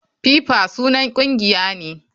FIFA sunan kungiya ne.